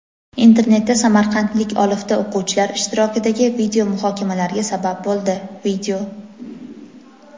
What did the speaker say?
Internetda samarqandlik olifta o‘quvchilar ishtirokidagi video muhokamalarga sabab bo‘ldi.